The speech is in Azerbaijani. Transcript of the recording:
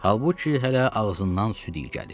Halbuki hələ ağzından süd iy gəlir.